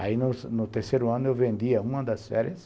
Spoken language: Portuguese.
Aí no terceiro ano eu vendia uma das férias,